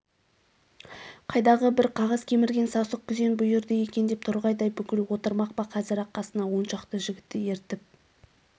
қайдағы бір қағаз кемірген сасық күзен бұйырды екен деп торғайдай бұғып отырмақ па қазір-ақ қасына оншақты жігітті ертіп